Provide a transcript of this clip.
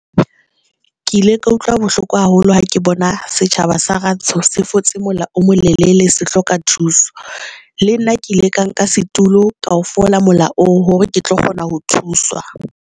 Ke ile ka utlwa bohloko haholo ha ke bona setjhaba sa Rantsho se fotse mola omo lelele se hloka thuso. Le nna ke ile ka nka setulo ka o fola mola oo hore ke tlo kgona ho thuswa.